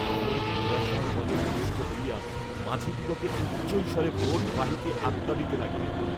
প্রমোদ নিরাশার বলে বলিষ্ঠ হইয়া মাঝিদিগকে উচ্চৈঃস্বরে বোট বাহিতে আজ্ঞা দিতে লাগিলেন।